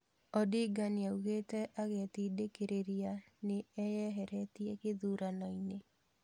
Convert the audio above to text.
Odinga nĩaugĩte agĩtindĩkĩrĩria nĩ eyeheretie gĩthurano-inĩ.